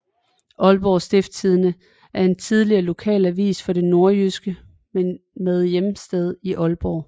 Aalborg Stiftstidende er en tidligere lokalavis for det nordjyske med hjemsted i Aalborg